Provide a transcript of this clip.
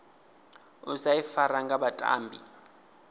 u sa ifara nga vhatambi